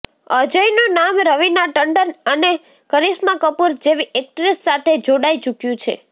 અજયનું નામ રવિના ટંડન અને કરિશ્મા કપૂર જેવી એક્ટ્રેસ સાથે જોડાઈ ચૂક્યું છે